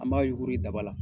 An b'a yuguri daba la